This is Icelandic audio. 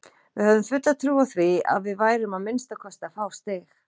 Við höfðum fulla trú á því að við værum að minnsta kosti að fá stig.